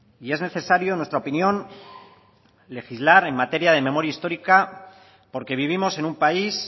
y es necesario en nuestra opinión legislar en materia de memoria histórica porque vivimos en un país